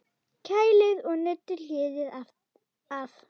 Kælið og nuddið hýðið af.